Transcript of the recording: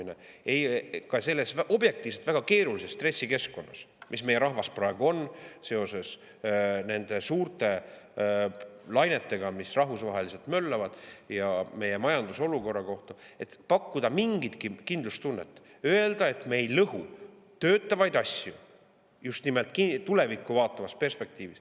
Ka objektiivselt võttes tuleks väga keerulise stressikeskkonnas, milles meie rahvas praegu on seoses nende suurte lainetega, mis rahvusvaheliselt möllavad, ja meie majanduse olukorras pakkuda mingitki kindlustunnet, öelda, et me ei lõhu toimivaid asju, just nimelt tulevikku vaatavas perspektiivis.